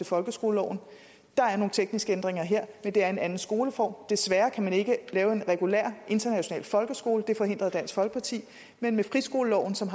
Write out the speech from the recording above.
folkeskoleloven der er nogle tekniske ændringer her men det er en anden skoleform desværre kan man ikke lave en regulær international folkeskole det forhindrede dansk folkeparti men friskoleloven som